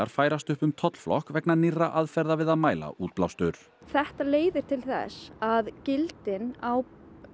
færast upp um tollflokk vegna nýrra aðferða við að mæla útblástur þetta leiðir til þess að gildin á